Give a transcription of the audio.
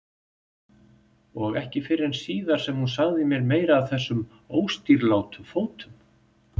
Og ekki fyrr en síðar sem hún sagði mér meira af þessum óstýrilátu fótum.